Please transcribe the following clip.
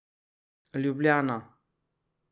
Ljubljana.